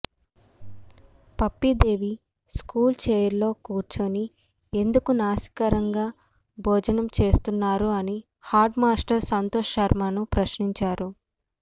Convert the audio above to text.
Pappi Devi school chair లో కుర్చుని ఎందుకు నాసిరకంగా భోజనం చేస్తున్నారు అని హడ్ మాస్టర్ సంతోష్ శర్మను ప్రశ్నించారు